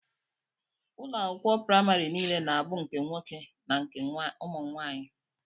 Ụlọakwụkwọ primari niile na abụ nke nwoke na nke ụmụnwaanyi.